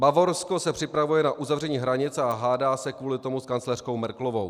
Bavorsko se připravuje na uzavření hranic a hádá se kvůli tomu s kancléřkou Merkelovou.